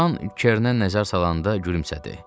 Loran Kerrnə nəzər salanda gülümsədi.